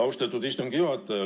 Austatud istungi juhataja!